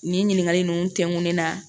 Nin ɲininkakali ninnu tɛnkunnen na